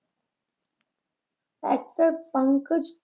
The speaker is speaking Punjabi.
ਅਫ਼ਸਰ ਪੰਕਜ?